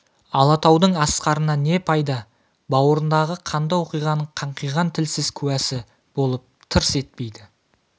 алатаудың асқарынан не пайда бауырындағы қанды оқиғаның қаңқиған тілсіз куәсі болып тырс етпейді